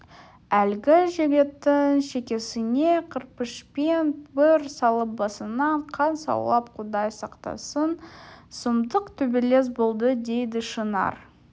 әлгі жігіттің шекесіне кірпішпен бір салып басынан қан саулап құдай сақтасын сұмдық төбелес болды дейді шынар